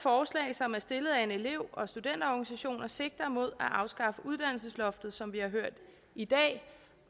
som er stillet af en elev og studenterorganisationer sigter mod at afskaffe uddannelsesloftet som vi har hørt i dag